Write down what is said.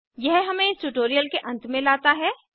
यह हमें इस ट्यूटोरियल के अंत में लाता है